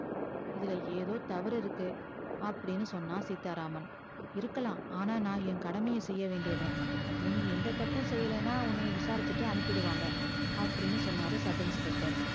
இதுல ஏதோ தவறு இருக்கு அப்டின்னு சொன்னா சீத்தா ராமன் இருக்களா ஆனா நா என் கடமைய செய்யவேண்டியவ நீ எந்த தப்பும் செய்யலனா உன்ன விசாரிச்சிட்டு அனுப்பிடுவாங்க அப்டின்னு சொன்னாரு sub inspecter